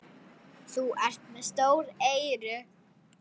Þú ert með stór eyru.